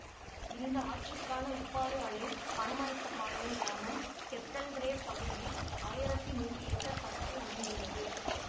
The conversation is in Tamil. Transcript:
இந்த ஆற்றுக்கான உப்பாறு அணை பனமரத்துப்பாளையம் கிராமம் கெத்தல்ரேவ் பகுதியில் ஆயிரத்தி நூறு ஏக்கர் பரப்பில் அமைந்துள்ளது